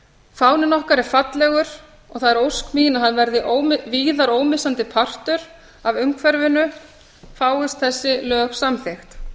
fáninn okkar er fallegur og það er ósk mín að hann verði víðar ómissandi partur af umhverfinu fáist þessi lög samþykkt